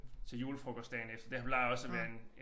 Til julefrokost dagen efter det har plejer også at være en